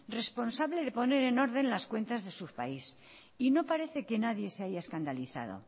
responsable de poner en orden las cuentas de su país y no parece que nadie se haya escandalizado